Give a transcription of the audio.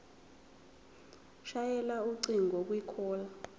shayela ucingo kwicall